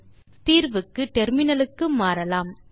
இப்போது தீர்வுக்கு முனையத்துக்கு மாறலாம்